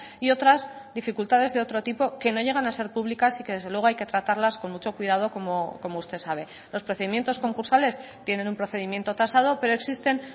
y otras dificultades de otro tipo que no llegan a ser públicas y que desde luego hay que tratarlas con mucho cuidado como usted sabe los procedimientos concursales tienen un procedimiento tasado pero existen